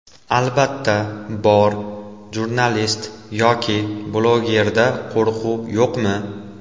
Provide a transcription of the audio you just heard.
Albatta, bor, jurnalist yoki blogerda qo‘rquv yo‘qmi?